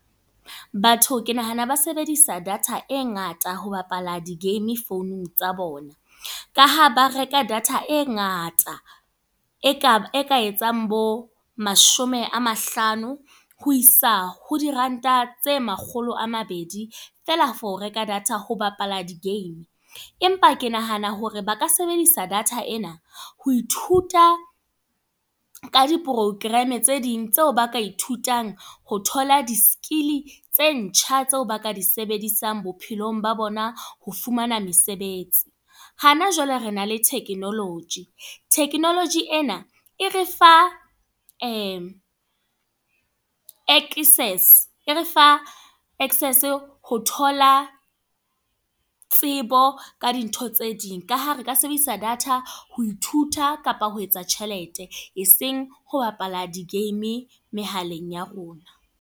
Batho ke nahana ba sebedisa data e ngata ho bapala di-game founung tsa bona. Ka ha ba reka data e ngata. E ka etsang bo mashome a mahlano ho isa ho diranta tse makgolo a mabedi. Feela for reka data ho bapala di-game. Empa ke nahana hore ba ka sebedisa data ena ho ithuta ka di-program tse ding tseo ba ka ithutang ho thola di-skill tse ntjha tseo ba ka di sebedisang bophelong ba bona ho fumana mesebetsi. Hana jwale re na le technology. Technology ena, e re fa excess e re fa access ho thola, tsebo ka dintho tse ding. Ka ha re ka sebedisa data ho ithuta, kapa ho etsa tjhelete. E seng ho bapala di-game mehaleng ya rona.